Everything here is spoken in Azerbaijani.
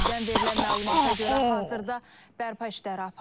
Təbibdən verilən məlumata görə hazırda bərpa işləri aparılır.